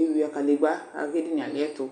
eyuǝ kadegbǝ aka kʋ edini yɛ alɩɛtʋ